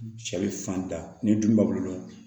Cɛ bɛ fan da ni du ma bolo